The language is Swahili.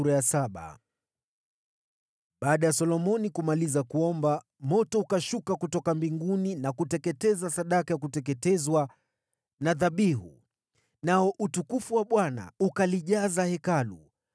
Baada ya Solomoni kumaliza kuomba, moto ukashuka kutoka mbinguni na kuteketeza sadaka ya kuteketezwa na dhabihu, nao utukufu wa Bwana ukalijaza Hekalu.